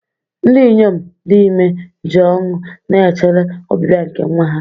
Ndị inyom dị ime ji ọṅụ na-echere ọbịbịa nke nwa ha.